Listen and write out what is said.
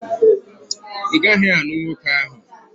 Ị gaghị anụ nwoke ahụ!